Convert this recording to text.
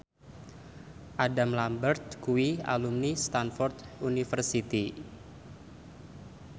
Adam Lambert kuwi alumni Stamford University